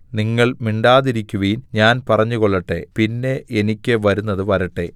നിങ്ങൾ മിണ്ടാതിരിക്കുവിൻ ഞാൻ പറഞ്ഞുകൊള്ളട്ടെ പിന്നെ എനിയ്ക്ക് വരുന്നത് വരട്ടെ